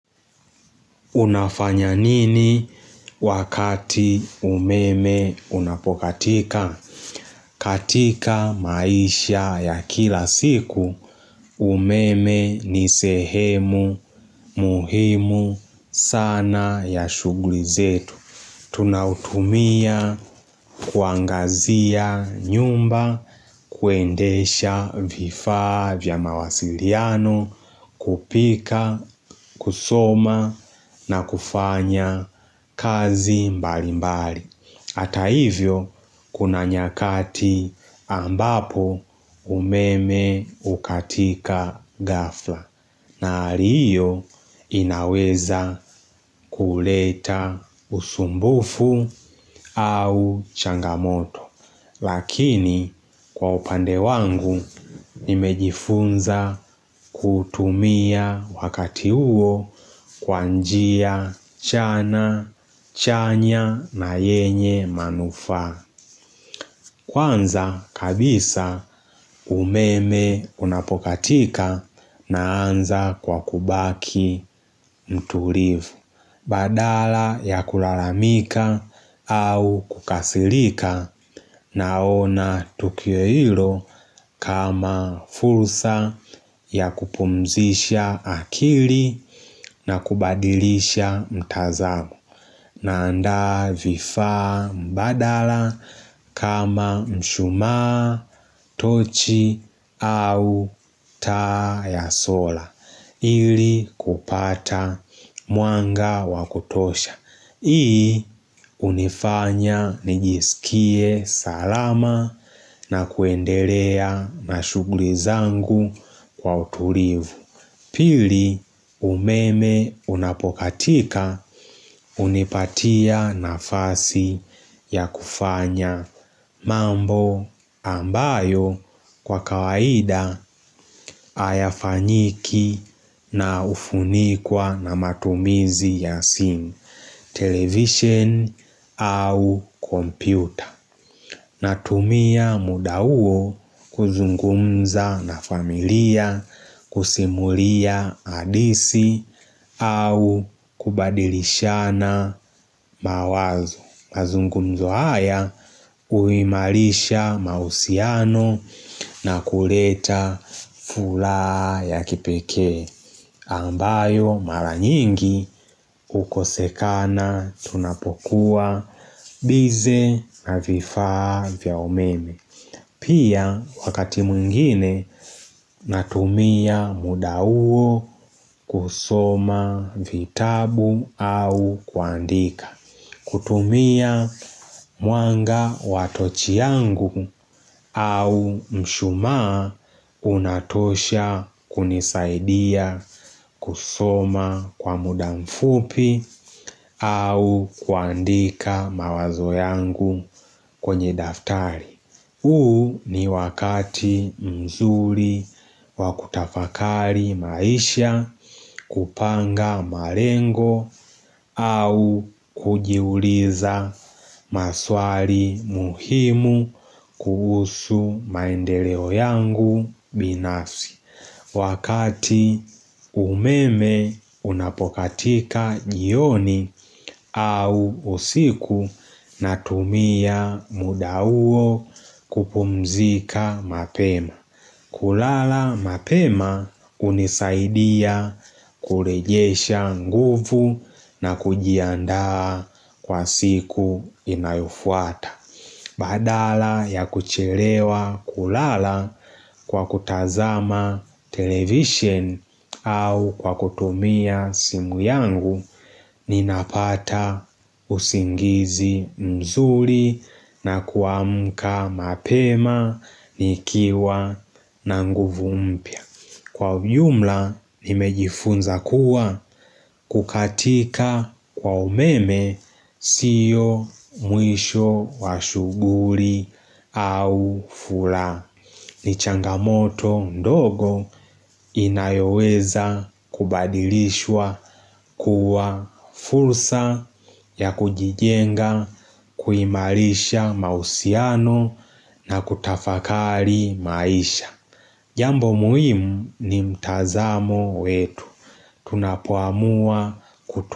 Unafanya nini wakati umeme unapokatika? Katika maisha ya kila siku, umeme ni sehemu muhimu sana ya shughuli zetu. Tunautumia kuangazia nyumba, kuendesha vifaa vya mawasiliano, kupika, kusoma na kufanya kazi mbali mbali. Hata hivyo kuna nyakati ambapo umeme hukatika ghafla na hali hio inaweza kuleta usumbufu au changamoto. Lakini kwa upande wangu nimejifunza kutumia wakati huo kwa njia chanya na yenye manufaa. Kwanza kabisa umeme unapokatika naanza kwa kubaki mtulivu. Badala ya kulalamika au kukasirika naona tukio hilo kama fursa ya kupumzisha akili na kubadilisha mtazamo. Naanda vifaa mbadala kama mshumaa, tochi au taa ya sola ili kupata mwanga wa kutosha. Hii hunifanya nijisikie salama na kuendelea na shughuli zangu kwa utulivu. Pili umeme unapokatika hunipatia nafasi ya kufanya mambo ambayo kwa kawaida, hayafanyiki na hufunikwa na matumizi ya simu, television au kompyuta. Natumia muda huo kuzungumza na familia kusimulia hadithi au kubadilishana mawazo. Mazungumzo haya huimarisha mahusiano na kuleta furaha ya kipekee. Ambayo mara nyingi hukosekana tunapokuwa busy na vifaa vya umeme Pia, wakati mwingine natumia muda huo kusoma vitabu au kuandika. Kutumia mwanga wa tochi yangu au mshumaa unatosha kunisaidia kusoma kwa muda mfupi. Au kuandika mawazo yangu kwenye daftari huu ni wakati mzuri wakutafakari maisha, kupanga marengo au kujiuliza maswali muhimu kuhusu maendeleo yangu binafsi. Wakati umeme unapokatika jioni au usiku natumia muda huo kupumzika mapema. Kulala mapema hunisaidia kurejesha nguvu na kujiandaa kwa siku inayofuata. Badala ya kuchelewa kulala kwa kutazama television au kwa kutumia simu yangu ninapata usingizi mzuri na kuamka mapema nikiwa na nguvu mpya. Kwa ujumla nimejifunza kuwa, kukatika kwa umeme sio mwisho wa shughuli au furaha. Ni changamoto ndogo inayoweza kubadilishwa kuwa fursa ya kujijenga, kuimarisha mahusiano na kutafakari maisha. Jambo muhimu ni mtazamo wetu Tunapoamua kutu.